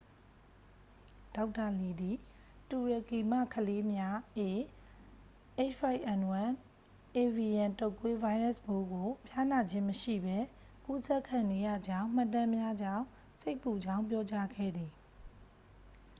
ဒေါက်တာလီသည် တူရကီမှကလေးများ ah၅n၁ အေဗီယန် တုတ်ကွေး ဗိုင်းရပ်စ်ပိုးကို ဖျားနာခြင်းမရှိပဲ ကူးစက်ခံနေရကြောင်း မှတ်တမ်းများကြောင့် စိတ်ပူကြောင်းပြောကြားခဲ့သည်။